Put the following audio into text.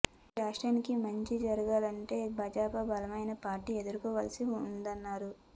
ఈ రాష్ట్రానికి మంచి జరగాలంటే భాజపా బలమైన పార్టీగా ఎదగాల్సి ఉందన్నారు